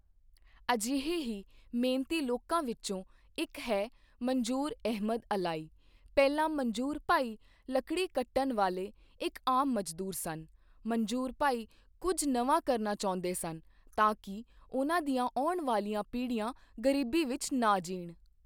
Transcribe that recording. ਅਜਿਹੇ ਹੀ ਮਿਹਨਤੀ ਲੋਕਾਂ ਵਿੱਚੋਂ ਇੱਕ ਹੈ ਮੰਜੂਰ ਅਹਿਮਦ ਅਲਾਈ, ਪਹਿਲਾਂ ਮੰਜੂਰ ਭਾਈ ਲੱਕੜੀ ਕੱਟਣ ਵਾਲੇ ਇੱਕ ਆਮ ਮਜ਼ਦੂਰ ਸਨ, ਮੰਜੂਰ ਭਾਈ ਕੁਝ ਨਵਾਂ ਕਰਨਾ ਚਾਹੁੰਦੇ ਸਨ ਤਾਂ ਕਿ ਉਨ੍ਹਾਂ ਦੀਆਂ ਆਉਣ ਵਾਲੀਆਂ ਪੀੜ੍ਹੀਆਂ ਗਰੀਬੀ ਵਿੱਚ ਨਾ ਜੀਣ।